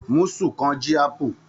Musù kan ji apu.